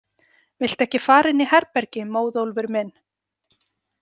Viltu ekki fara inn í herbergi, Móðólfur minn?